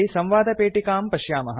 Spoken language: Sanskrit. इति संवादपेटिकां पश्यामः